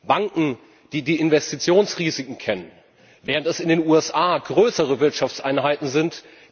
Banken, die die Investitionsrisiken kennen, während es in den USA größere Wirtschaftseinheiten sind.